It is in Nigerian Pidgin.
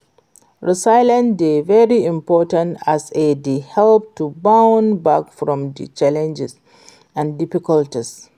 resilience dey very important as e dey help to bounce back from di challenges and difficulties.